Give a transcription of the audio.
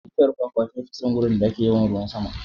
Bishiyar kwakwa ta fi son wurin da ake yawan ruwan sama.